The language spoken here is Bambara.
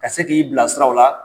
Ka se k'i bilasira o la